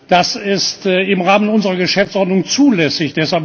Das ist im Rahmen unserer Geschäftsordnung zulässig.